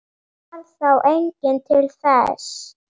Varð þá enginn til þess.